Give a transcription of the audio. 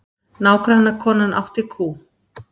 Nágrannakonan átti kú.